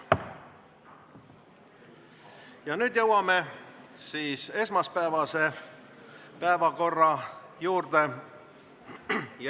Ja nüüd jõuame siis esmaspäevase päevakorra juurde.